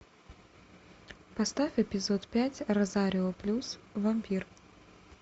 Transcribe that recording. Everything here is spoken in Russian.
поставь эпизод пять розарио плюс вампир